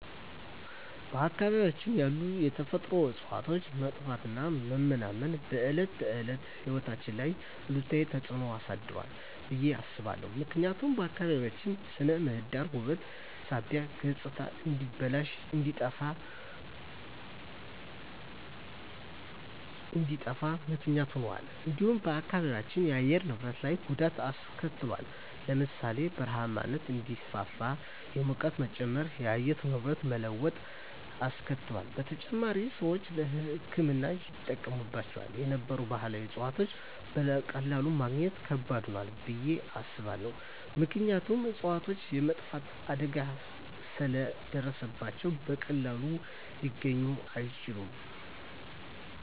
በአካባቢያችን ያሉ የተፈጥሮ እፅዋት መጥፋትና መመናመን በዕለት ተዕለት ሕይወት ላይ አሉታዊ ተጽዕኖ አሳድሯል ብየ አስባለሁ። ምክንያቱም የአካባቢያችን ስነ ምህዳር ውበት ሳቢነት ገፅታ እንዲበላሽ እንዲጠፋ ምክንያት ሁኗል። እንዲሁም በአካባቢው የአየር ንብረት ላይ ጉዳት አሰከትሏል ለምሳሌ ( በረሃማነት እንዲስፋፋ፣ የሙቀት መጨመር፣ የአየር ንብረት መለዋወጥ አስከትሏል። በተጨማሪም፣ ሰዎች ለሕክምና ይጠቀሙባቸው የነበሩ ባህላዊ እፅዋትን በቀላሉ ማግኘት ከባድ ሆኗል ብየ አስባለሁ። ምክንያቱም እፅዋቶቹ የመጥፋት አደጋ ስለ ደረሰባቸው በቀላሉ ሊገኙ አይችሉም።